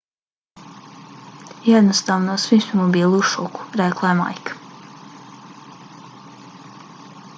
jednostavno svi smo bili u šoku, rekla je majka